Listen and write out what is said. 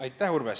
Aitäh, Urve!